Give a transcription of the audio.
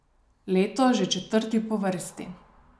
Letos že četrti po vrsti.